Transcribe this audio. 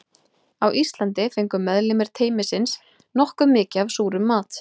Á Íslandi fengu meðlimir teymisins nokkuð mikið af súrum mat.